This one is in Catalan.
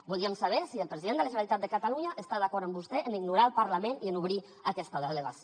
voldríem saber si el president de la generalitat de catalunya està d’acord amb vostè en ignorar el parlament i en obrir aquesta delegació